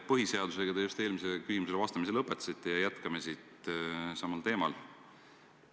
Põhiseadusega te eelmisele küsimusele vastamise lõpetasite ja jätkame samal teemal.